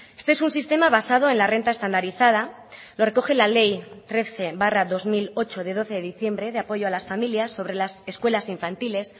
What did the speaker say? este es un sistema basado en la renta estandarizada lo recoge la ley trece barra dos mil ocho de doce de diciembre de apoyo a las familias sobre las escuelas infantiles